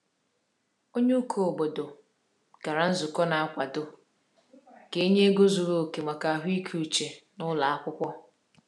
Onye ụkọ obodo gara nzukọ na-akwado ka e nye ego zuru oke maka ahụike uche n’ụlọ akwụkwọ.